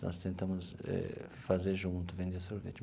Nós tentamos eh fazer junto, vender sorvete.